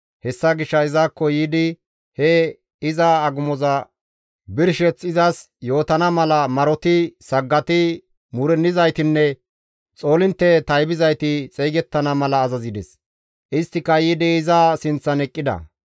Hessa gishshas izakko yiidi he iza agumoza birsheth izas yootana mala maroti, saggati, muurennizaytinne xoolintte taybizayti xeygettana mala azazides; isttika yiidi iza sinththan eqqida.